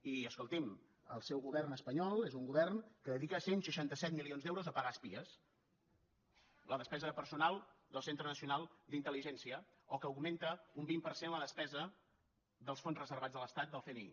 i escolti’m el seu govern espanyol és un govern que dedica cent i seixanta set milions d’euros a pagar espies la despesa de personal del centre nacional d’intel·ligència o que augmenta un vint per cent la despesa dels fons reservats de l’estat del cni